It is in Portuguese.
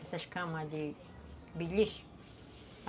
Essas camas de beliche.